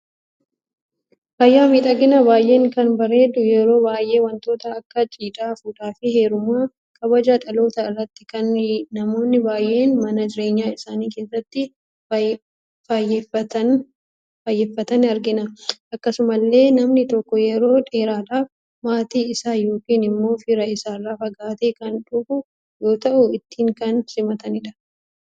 Faaya miidhagina baay'ee kan bareedu, yeroo baay'ee wantoota akka cidha, fuudhaf heeruma, kabaja dhaloota irratti kan namoonni baay'een mana jireenya isaanii keessatti faayyeffatan argina. Akkasumallee namni tokko yeroo dheeraadhaf maatii isa yookiin immo fira isaarra fagaate kan dhufuu yoo tahu ittin kan simatanidha.